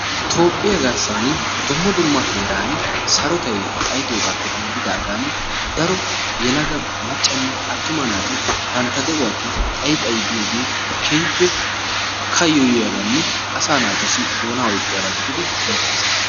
Toophphiyaa garssaani dumma dumma sohuwaani sarotay xaayidoogappe denddidaagan daro yelaga maccanne attuma naati bantta de'uwaa agi xayi xayi biyoogee keehippe kayoyiyaabnne asaa naatussi doonaa oyqqiyaaba giididi beettees.